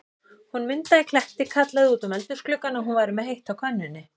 Hún Munda í Kletti kallaði út um eldhúsgluggann, að hún væri með heitt á könnunni.